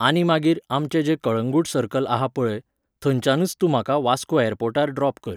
आनी मागीर आमचें जें कळंगूट सर्कल आसा पळय, थंयच्यानच तूं म्हाका वास्को एयरपोर्टार ड्रॉप कर